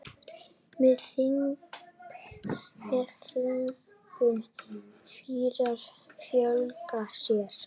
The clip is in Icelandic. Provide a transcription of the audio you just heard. Með þingum fýrar fjölga sér.